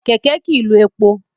Kẹ̀kẹ́ kì í lo epo.